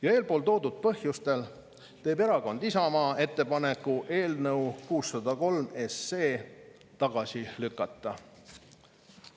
Ja eelpool toodud põhjustel teeb Erakond Isamaa ettepaneku eelnõu 603 tagasi lükata.